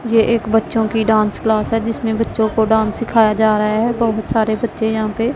ये एक बच्चों की डांस क्लास है जिसमें बच्चों को डांस सिखाया जा रहा है बहुत सारे बच्चे यहां पे --